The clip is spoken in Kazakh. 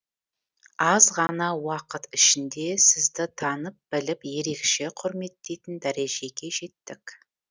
аз ғана уақыт ішінде сізді танып біліп ерекше құрметтейтін дәрежеге жеттік